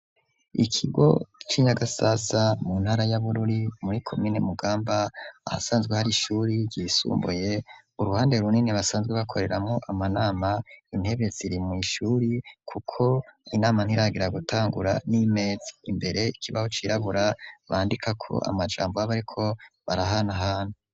Ikigo ci nyagasasa mu ntara ya Bururi muri komine Mugamba ahasanzwe hari ishuri yisumbuye uruhande runini basanzwe bakoreramo amanama intebe ziri mwishuri kuko inama ntiragira gutangura n'imezaimbere ikibaho cirabura bandika ko amajambo abo ariko barahana hana.